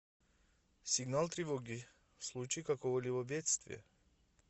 сигнал тревоги в случае какого либо бедствия